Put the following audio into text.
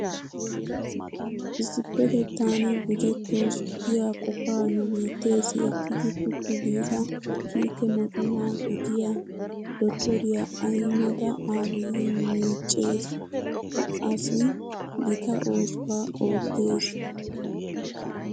Issippetettan gujettoos giya qofaa nu biitteessi ekkidi puttu giida kiike mocona gidiya dottoriya Ahimeda Abiyi miiccees. Ha asi gita oosuwa oottees.